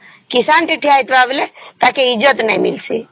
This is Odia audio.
କିଷାନ ଟେ ଠିଆହେଇଥିବା ବେଳେ ତାକେ ଇଜ୍ଜତ ନାଇଁ ଡିଇସି